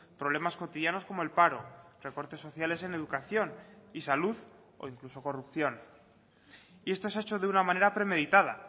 problemas cotidianos como el paro recortes sociales en educación y salud o incluso corrupción y esto se ha hecho de una manera premeditada